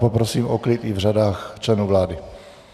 Poprosím o klid i v řadách členů vlády.